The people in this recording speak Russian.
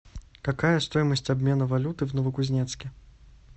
какая стоимость обмена валюты в новокузнецке